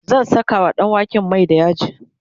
zan Saka wa ɗanwaken Mai da yaji